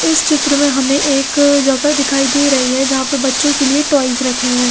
इस चित्र में हमे एक जगह दिखाई दे रही है जहा पे बच्चो के लिए टॉयज रखे हुए है।